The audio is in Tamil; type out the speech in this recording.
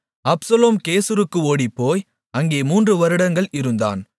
அப்சலோம் கெசூருக்கு ஓடிப்போய் அங்கே மூன்று வருடங்கள் இருந்தான்